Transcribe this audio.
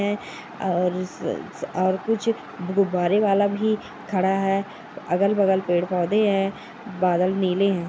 और जु जु और कुछ गुब्बारे बाला भी खाड़ा है अगल बगल पेड़ पौधे है बादल नीले है।